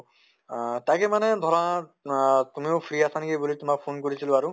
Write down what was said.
তʼ তাকে মানে ধৰা আহ তুমিও free আছে নেকি বুলি তোমাক phone কৰিছিলো আৰু